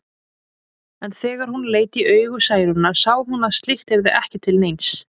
En þegar hún leit í augu Særúnar sá hún að slíkt yrði ekki til neins.